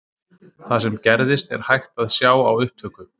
Það sem gerðist er hægt að sjá á upptöku.